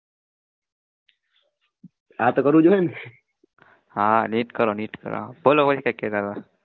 હાં